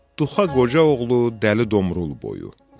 Duxa Qoca oğlu Dəli Domrul boyu.